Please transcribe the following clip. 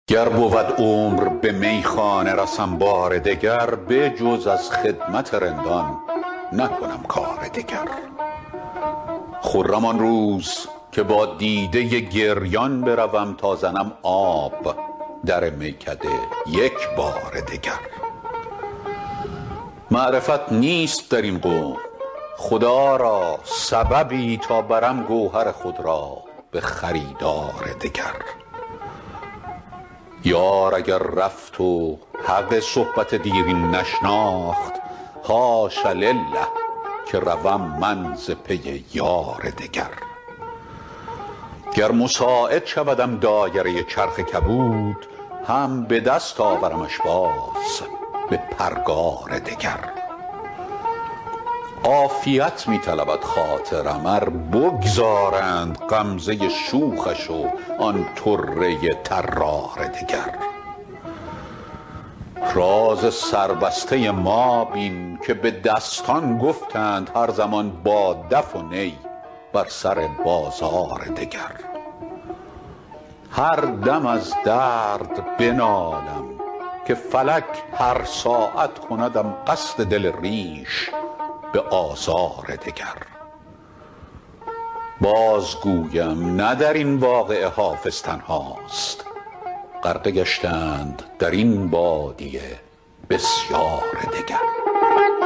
گر بود عمر به میخانه رسم بار دگر بجز از خدمت رندان نکنم کار دگر خرم آن روز که با دیده گریان بروم تا زنم آب در میکده یک بار دگر معرفت نیست در این قوم خدا را سببی تا برم گوهر خود را به خریدار دگر یار اگر رفت و حق صحبت دیرین نشناخت حاش لله که روم من ز پی یار دگر گر مساعد شودم دایره چرخ کبود هم به دست آورمش باز به پرگار دگر عافیت می طلبد خاطرم ار بگذارند غمزه شوخش و آن طره طرار دگر راز سربسته ما بین که به دستان گفتند هر زمان با دف و نی بر سر بازار دگر هر دم از درد بنالم که فلک هر ساعت کندم قصد دل ریش به آزار دگر بازگویم نه در این واقعه حافظ تنهاست غرقه گشتند در این بادیه بسیار دگر